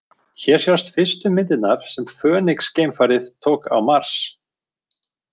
Hér sjást fyrstu myndirnar sem Fönix-geimfarið tók á Mars.